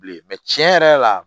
Bilen tiɲɛ yɛrɛ la